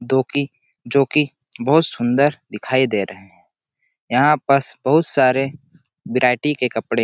धोखे जो की बहुत सुंदर दिखाई दे रहा है यहाँ पर बहुत सारे वैरायटी के कपड़े--